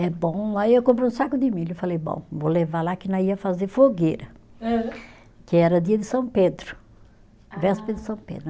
É bom, aí eu comprei um saco de milho e falei, bom, vou levar lá que nós ia fazer fogueira. Hã. Que era dia de São Pedro, véspera de São Pedro.